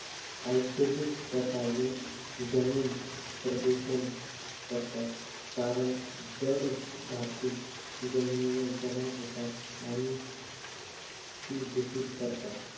औद्योगिक रसायने जमीन प्रदूषण करतात. कारण जड धातू जमिनीवर जमा होता आणि ती दूषित करतात.